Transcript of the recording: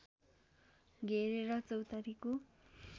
घेरेर चौतारीको